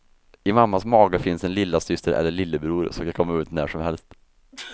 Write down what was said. I mammas mage finns en lillasyster eller lillebror, som kan komma ut när som helst.